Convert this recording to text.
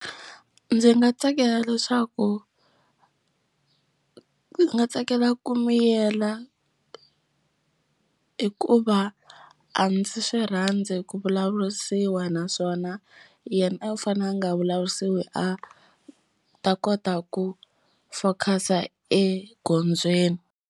Ndzi nga tsakela leswaku ndzi nga tsakela ku miyela hikuva a ndzi swi rhandzi ku vulavurisiwa naswona yena a u fane a nga vulavurisiwi a ta kota ku focus egondzweni.